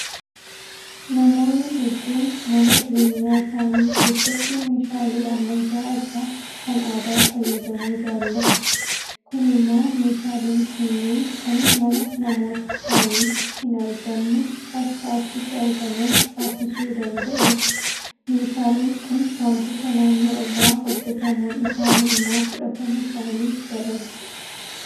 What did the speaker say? Namoonni hedduun mana jireenyaa isaanii keessatti meeshaalee ammayyaa irra kan aadaa fayyadamuu jaalatu. Kun immoo meeshaaleen kunneen kan mana namoota kaaniitti hinargamne akka achitti argaman taasisuu danda'eera. Meeshaaleen kun waantota naannoo irraa hojjetamuun isaanii immoo fudhatama isaanii dabala.